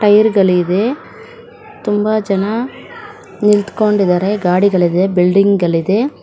Tyre ಗಳಿದೆ ತುಂಬಾ ಜನ ನಿಂತ್ಕೊಂಡಿದಾರೆ ಗಾಡಿಗಳಿದೆ ಬಿಲ್ಡಿಂಗ್ ಗಳಿದೆ .